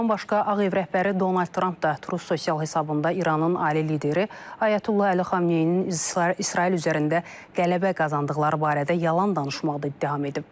Bundan başqa Ağ Ev rəhbəri Donald Tramp da Twitter sosial hesabında İranın ali lideri Ayətullah Əli Xamneyinin İsrail üzərində qələbə qazandıqları barədə yalan danışmaqda ittiham edib.